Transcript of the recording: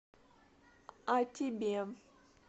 а тебе